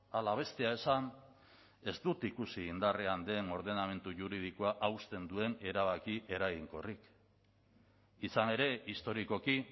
ala bestea esan ez dut ikusi indarrean den ordenamendu juridikoa hausten duen erabaki eraginkorrik izan ere historikoki